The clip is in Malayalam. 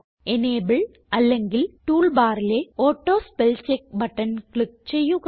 എനബിൾ അല്ലെങ്കിൽ ടൂൾ ബാറിലെ ഓട്ടോസ്പെൽചെക്ക് ബട്ടൺ ക്ലിക്ക് ചെയ്യുക